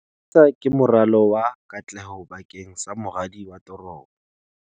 MISA ke moralo wa katleho bakeng sa moradi wa toropo.